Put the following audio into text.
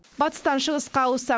батыстан шығысқа ауыссақ